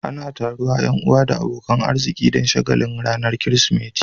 Ana taruwa Yan uwa da abokanan arziki Dan shagalin ranar kirismeti